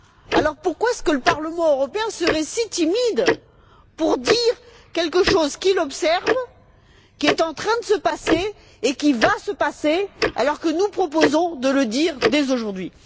Alors pourquoi le Parlement européen serait il si timide qu'il n'ose dire quelque chose qu'il observe, qui est en train de se passer et qui va se passer, alors que nous proposons de le dire dès aujourd'hui?